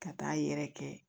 Ka taa yɛrɛ kɛ